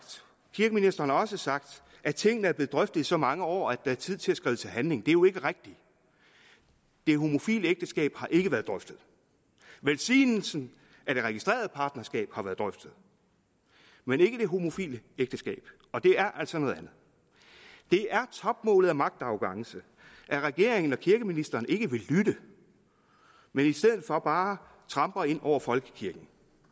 kirkeministeren har også sagt at tingene er blevet drøftet i så mange år at det er tid til at skride til handling det er jo ikke rigtigt det homofile ægteskab har ikke været drøftet velsignelsen af det registrerede partnerskab har været drøftet men ikke det homofile ægteskab og det er altså noget andet det er topmålet af magtarrogance at regeringen og kirkeministeren ikke vil lytte men i stedet for bare tramper ind over folkekirken